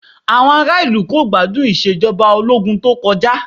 Àwọn ará ìlú kò gbádùn Ìṣèjọba Ológun tó kọjá